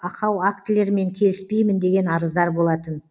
ақау актілерімен келіспеймін деген арыздар болатын